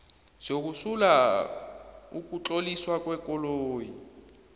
sokusula ukutloliswa kwekoloyi